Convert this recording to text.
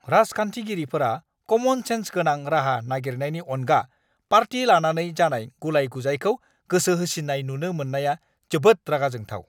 राजखान्थिगिरिफोरा common sense गोनां राहा नागिरनायनि अनगा पार्टि लानानै जानाय गुलाय-गुजायखौ गोसोहोसिन्नाय नुनो मोननाया जोबोद रागा जोंथाव!